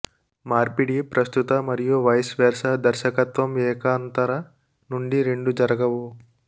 మార్పిడి ప్రస్తుత మరియు వైస్ వెర్సా దర్శకత్వం ఏకాంతర నుండి రెండు జరగవు